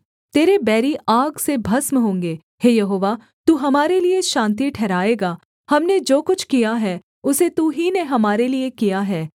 तेरे बैरी आग से भस्म होंगे हे यहोवा तू हमारे लिये शान्ति ठहराएगा हमने जो कुछ किया है उसे तू ही ने हमारे लिये किया है